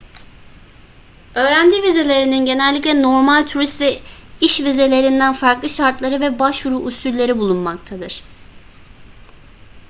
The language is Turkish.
öğrenci vizelerinin genellikle normal turist ve iş vizelerinden farklı şartları ve başvuru usülleri bulunmaktadır